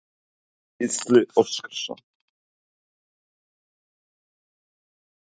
Gísli Óskarsson: Þetta er hátíðisdagur hjá þér í dag, eða hvað?